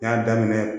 N y'a daminɛ